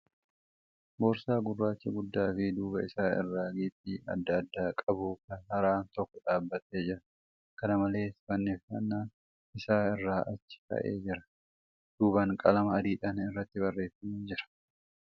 Boorsaa gurraachi guddaa fi duuba isaa irraa giiphii adda addaa qabu haaraan tokko dhaabbatee jira. Kana malees, fannifannaan isaa irraa achi ka'ee jira. Duubaa qalama adiidhaan irratti barreeffamee jira .